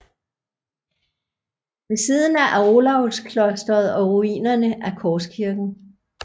Ved siden af Olavsklosteret og ruinerne af Korskirken